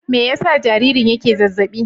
Me yasa jaririn yake zazzaɓi?